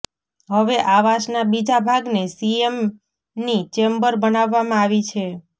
હવે આવાસના બીજા ભાગને સીએમની ચેમ્બર બનાવવામાં આવી છે